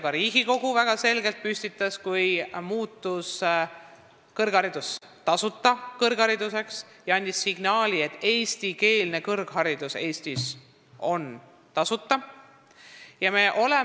Ka Riigikogu püstitas väga selged eesmärgid, kui eestikeelne kõrgharidus Eestis muudeti tasuta kättesaadavaks.